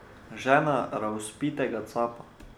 Žena razvpitega capa.